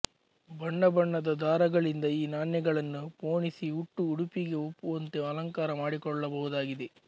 ಬಣ್ಣ ಬಣ್ಣದ ದಾರಗಳಿಂದ ಈ ನಾಣ್ಯಗಳನ್ನು ಪೋಣಿಸಿ ಉಟ್ಟ ಉಡುಪಿಗೆ ಒಪ್ಪುವಂತೆ ಅಲಂಕಾರ ಮಾಡಿಕೊಳ್ಳಬಹುದಾಗಿದೆ